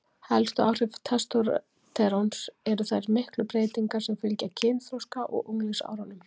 Helstu áhrif testósteróns eru þær miklu breytingar sem fylgja kynþroska og unglingsárunum.